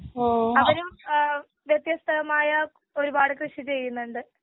അവരും വത്യസ്ഥമായ ഒരുപാട് കൃഷി ചെയ്യുന്നുണ്ട്.